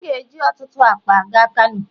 M ga-eji ọtụtụ akpa aga Kano.